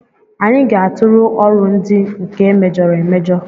Anyị ga-atụfu ọrụ ndị nke emejọrọ emejọ